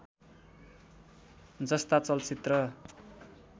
जस्ता चलचित्र